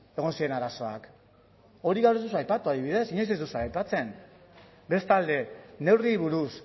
egon ziren arazoak hori gaur ez duzu aipatu adibidez inoiz ez duzue aipatzen bestalde neurriei buruz